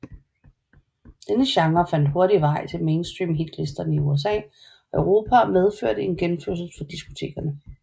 Denne genre fandt hurtigt vej til mainstream hitlisterne i USA og Europa og medførte en genfødsel for diskotekerne